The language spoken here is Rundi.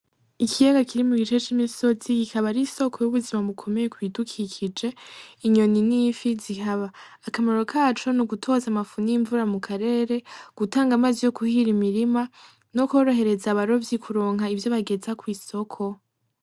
Ikiyaga kiri mugice c'imisozi, ikaba ari isoko y'ubuzima ikomeye kubidukikije, inyoni n'ifi zihaba, akamaro kaco nugutoza amafu n'imvura mu karere gutanga amazi yo kuhira imirima no korohereza abarovyi kuronka ivyo bageza kw'isoko.